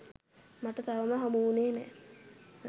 මට තවම හමුවුණේ නැහැ.